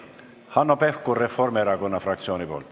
Hanno Pevkur Reformierakonna fraktsiooni nimel.